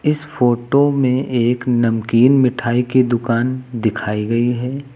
इस फोटो में एक नमकीन मिठाई की दुकान दिखाई गई है।